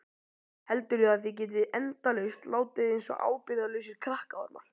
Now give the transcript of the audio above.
Heldurðu að þið getið endalaust látið einsog ábyrgðarlausir krakkaormar?